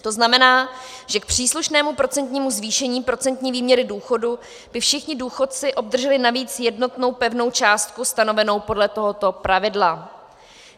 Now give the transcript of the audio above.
To znamená, že k příslušnému procentnímu zvýšení procentní výměry důchodu by všichni důchodci obdrželi navíc jednotnou pevnou částku stanovenou podle tohoto pravidla.